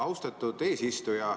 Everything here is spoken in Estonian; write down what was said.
Austatud eesistuja!